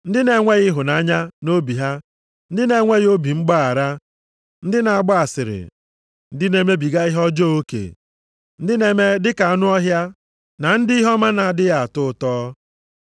Ndị na-enweghị ịhụnanya nʼobi ha, ndị na-enweghị obi mgbaghara, ndị na-agba asịrị, ndị na-emebiga ihe ọjọọ oke, ndị na-eme dị ka anụ ọhịa, na ndị ihe ọma na-adịghị atọ ụtọ.